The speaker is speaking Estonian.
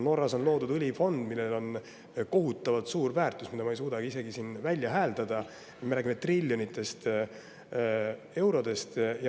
Norras on loodud õlifond, millel on kohutavalt suur väärtus, mida ma ei suuda isegi siin välja hääldada, me räägime triljonitest eurodest.